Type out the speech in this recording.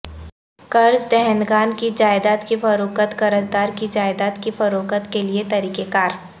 قرض دہندگان کی جائیداد کی فروخت قرضدار کی جائیداد کی فروخت کے لئے طریقہ کار